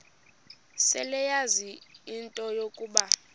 seleyazi into yokuba